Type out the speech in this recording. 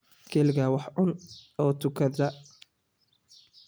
Keligaa wax cun oo tukada.